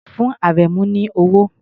Fún Àrẹ̀mú ní owó!